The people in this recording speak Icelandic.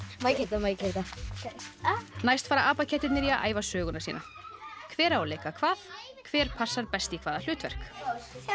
Má ég keyra þetta næst fara apakettirnir í að æfa söguna sína hver á að leika hvað og hver passar best í hvaða hlutverk er